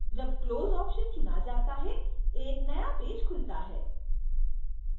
जब close चुना जाता है एक नया पेज खुलता है